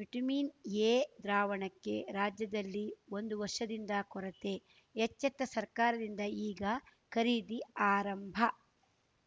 vitamin A ದ್ರಾವಣಕ್ಕೆ ರಾಜ್ಯದಲ್ಲಿ ಒಂದು ವರ್ಷದಿಂದ ಕೊರತೆ ಎಚ್ಚೆತ್ತ ಸರ್ಕಾರದಿಂದ ಈಗ ಖರೀದಿ ಆರಂಭ